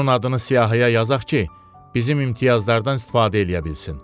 Onun adını siyahıya yazaq ki, bizim imtiyazlardan istifadə eləyə bilsin.